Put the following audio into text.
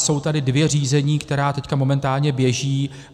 Jsou tady dvě řízení, která teď momentálně běží.